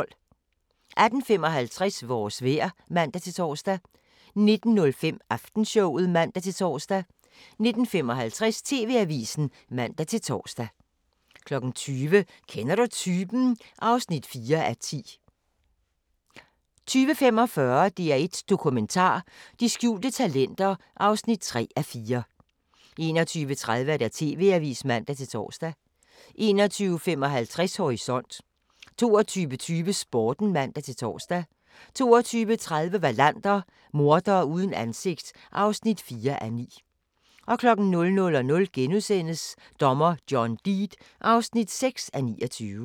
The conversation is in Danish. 18:55: Vores vejr (man-tor) 19:05: Aftenshowet (man-tor) 19:55: TV-avisen (man-tor) 20:00: Kender du typen? (4:10) 20:45: DR1 Dokumentar: De skjulte talenter (3:4) 21:30: TV-avisen (man-tor) 21:55: Horisont 22:20: Sporten (man-tor) 22:30: Wallander: Mordere uden ansigt (4:9) 00:00: Dommer John Deed (6:29)*